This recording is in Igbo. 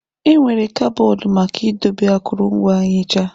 Enwere kaboodu maka idobe akụrụngwa nhicha.